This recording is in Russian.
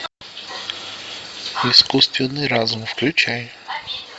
искусственный разум включай